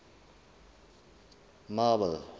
marble